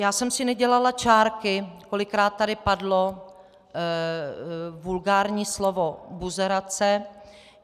Já jsem si nedělala čárky, kolikrát tady padlo vulgární slovo buzerace.